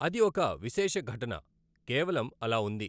అది ఒక విశేషఘటన కేవలం అలాఉంది.